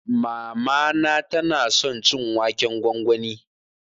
Mamana ta na son cin waken gwangwani